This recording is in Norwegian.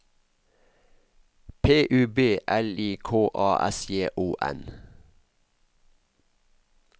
P U B L I K A S J O N